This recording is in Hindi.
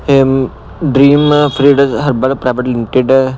AM and dream freed herbal private limited --